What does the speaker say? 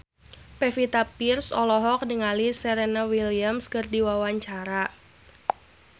Pevita Pearce olohok ningali Serena Williams keur diwawancara